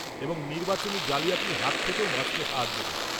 এবং নির্বাচনী জালিয়াতির হাত থেকেও বাঁচতে সাহায্য করে।